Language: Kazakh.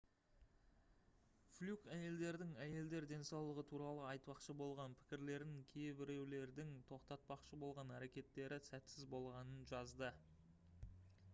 флюк әйелдердің әйелдер денсаулығы туралы айтпақшы болған пікірлерін кейбіреулердің тоқтатпақшы болған әрекеттері сәтсіз болғанын жазды